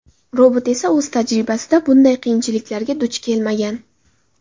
Robot esa o‘z tajribasida bunday qiyinchiliklarga duch kelmagan.